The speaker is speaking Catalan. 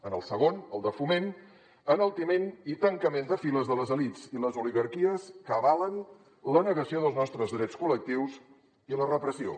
en el segon el de foment enaltiment i tancament de files de les elits i les oligarquies que avalen la negació dels nostres drets col·lectius i la repressió